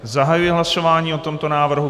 Zahajuji hlasování o tomto návrhu.